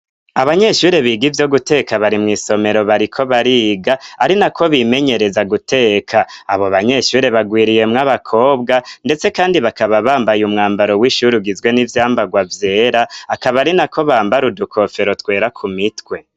Abanyeshure biga ivyo guteka, bari mw'isomero bariko bariga ari na ko bimenyereza guteka, abo banyeshure bagwiriyemw'abakobwa, ndetse kandi bakaba bambaye umwambaro w'ishure ugizwe n'ivyambagwa vyera, akaba ari na ko bambara udukofero twera ku mitwe.